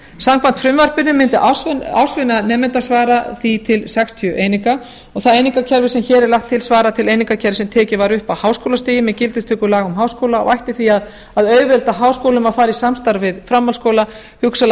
samkvæmt frumvarpinu mundi ársvinna nemanda svara því til sextíu eininga og það einingakerfi sem hér er lagt til svarar til einingakerfis sem tekið var upp af háskólastigi með gildistöku laga um háskóla og ætti því að auðvelda háskólum að fara í samstarf við framhaldsskóla hugsanlega